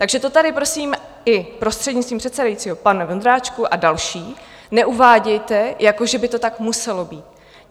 Takže to tady prosím i prostřednictvím předsedajícího, pane Vondráčku a další, neuvádějte, jako že by to tak muselo být.